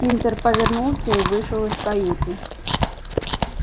тинтер повернулся и вышел из каюты